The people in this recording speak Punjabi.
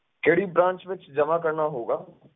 ਕਿਹੜੀ branch ਵਿੱਚ ਜਮਾ ਕਰਨਾ ਹੋਊਗਾ।